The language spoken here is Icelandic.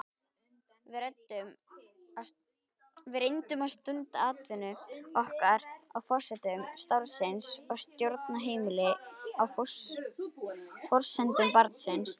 Við reyndum að stunda atvinnu okkar á forsendum starfsins og stjórna heimilinu á forsendum barnsins.